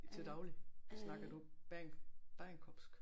Til daglig snakker du bagenkopsk